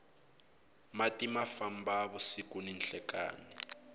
mati ma famba vusiku ni nhlekani